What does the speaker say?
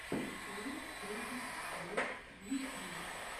открой кейзет тьюб в ютьюбе